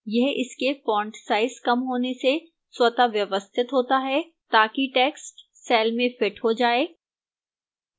यह इसके font size कम होने से स्वतः व्यवस्थित होता है ताकि text cell में fits हो जाए